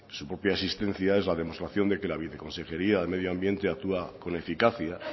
su propia existencia es la demostración de que la viceconsejería de medio ambiente actúa con eficacia